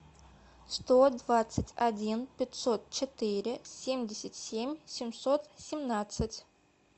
сто двадцать один пятьсот четыре семьдесят семь семьсот семнадцать